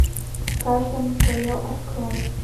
каждому свое открой